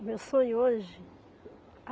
O meu sonho hoje?